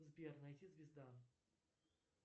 сбер найти звезда